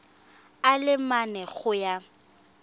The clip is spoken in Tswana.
a le mane go ya